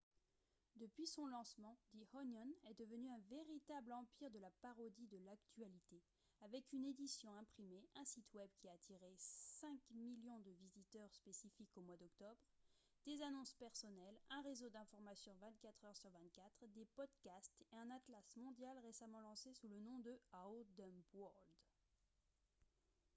depuis son lancement the onion est devenu un véritable empire de la parodie de l'actualité avec une édition imprimée un site web qui a attiré 5 000 000 de visiteurs spécifiques au mois d'octobre des annonces personnelles un réseau d'information 24 heures sur 24 des podcasts et un atlas mondial récemment lancé sous le nom de « our dumb world »